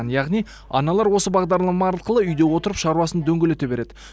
яғни аналар осы бағдарлама арқылы үйде отырып шаруасын дөңгелете береді